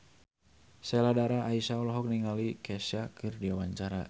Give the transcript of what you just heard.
Sheila Dara Aisha olohok ningali Kesha keur diwawancara